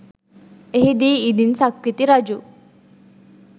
එහිදී ඉදින් සක්විති රජු